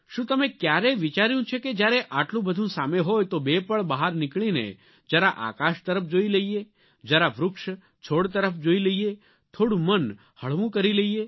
શું તમે ક્યારેય વિચાર્યું છે કે જ્યારે આટલું બધું સામે હોય તો બે પળ બહાર નીકળીને જરા આકાશ તરફ જોઇ લઇએ જરા વૃક્ષ છોડ તરફ જોઇ લઇએ થોડું મન હળવું કરી લઇએ